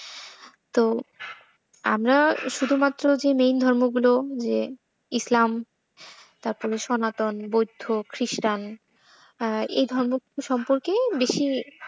তো আমরা শুধুমাত্র যে মেন ধর্মগুলো যে ইসলাম, তারপর সনাতন, বৌদ্ধ, খ্রিষ্টান আ এই ধর্মগুলো সম্পর্কে বেশি তো।